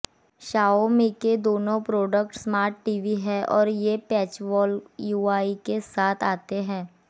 Xiaomi के दोनों products smart TV हैं और ये पैचवॉल यूआई के साथ आते हैं